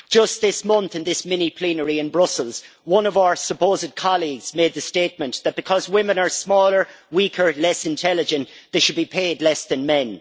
Just this month in the mini plenary in Brussels, one of our supposed colleagues made the statement that because women are smaller, weaker, less intelligent they should be paid less than men.